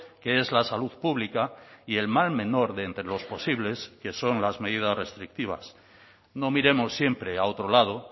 que es la salud pública y el mal menor de entre los posibles que son las medidas restrictivas no miremos siempre a otro lado